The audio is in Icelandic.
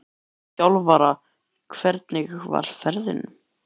Hvað með þig sem þjálfara, hvernig var ferðin?